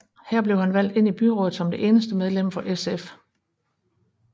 Her blev han valgt ind i byrådet som det eneste medlem for SF